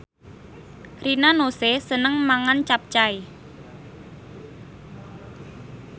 Rina Nose seneng mangan capcay